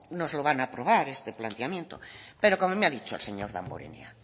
nos lo van a aprobar este planteamiento pero como me ha dicho el señor damborenea